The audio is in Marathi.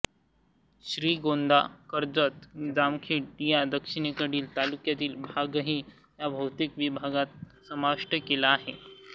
श्रीगोंदा कर्जत जामखेड या दक्षिणेकडील तालुक्यांचा भागही या भौतिक विभागात समाविष्ट केला आहे